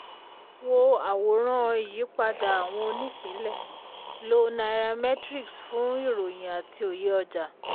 wo àwòrán ìyípadà àwọn onípínlẹ̀; lo nairametrics fún ìròyìn àti òye ọjà.